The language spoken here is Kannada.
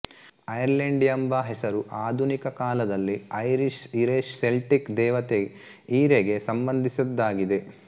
ಐರ್ಲೆಂಡ್ ಎಂಬ ಹೆಸರು ಆಧುನಿಕ ಕಾಲದಲಿ ಐರಿಶ್ ಈರೆ ಸೆಲ್ಟಿಕ್ ದೇವತೆ ಈರೆ ಗೆ ಸಂಬಂಧಿಸಿದ್ದಾಗಿದೆ